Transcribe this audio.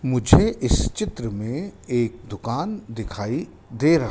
मुझे इस चित्र में एक दुकान दिखाई दे रहा--